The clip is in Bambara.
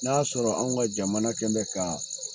N'a sɔrɔ an ka jamana kɛ bɛ ka